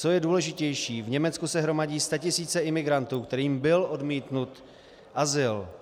Co je důležitější, v Německu se hromadí statisíce imigrantů, kterým byl odmítnut azyl.